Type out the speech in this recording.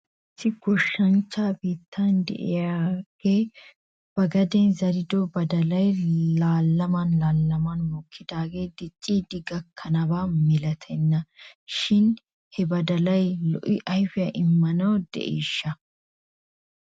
Issi goshshanchcha bitane de'iyaagee ba gaden zerido badalay laalaman laalaman mokkidaagee diccidi gakkanaba milatenna shin he badalay lo'o ayfiyaa immanaw de'iishsha?